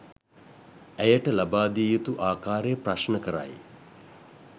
ඇයට ලබාදිය යුතු ආකාරය ප්‍රශ්න කරයි